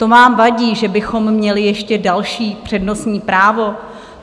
To vám vadí, že bychom měli ještě další přednostní právo?